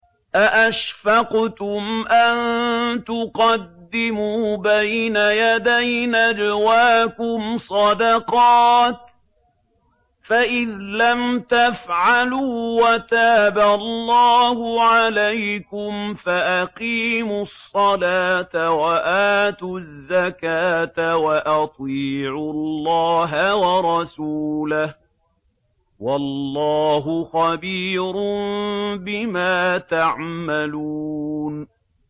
أَأَشْفَقْتُمْ أَن تُقَدِّمُوا بَيْنَ يَدَيْ نَجْوَاكُمْ صَدَقَاتٍ ۚ فَإِذْ لَمْ تَفْعَلُوا وَتَابَ اللَّهُ عَلَيْكُمْ فَأَقِيمُوا الصَّلَاةَ وَآتُوا الزَّكَاةَ وَأَطِيعُوا اللَّهَ وَرَسُولَهُ ۚ وَاللَّهُ خَبِيرٌ بِمَا تَعْمَلُونَ